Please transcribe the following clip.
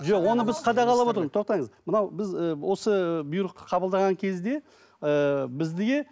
жоқ оны біз қадағалап отырмыз тоқтаңыз мынау біз і осы бұйрықты қабылдаған кезде ііі бізге